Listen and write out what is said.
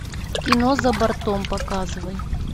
кино за бортом показывай